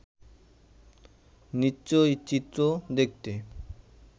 নিশ্চয়ই চিত্র দেখতে